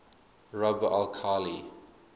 rub al khali